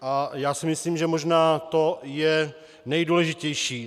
A já si myslím, že možná to je nejdůležitější.